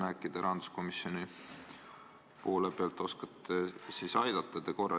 Äkki te rahanduskomisjoni esindajana oskate aidata.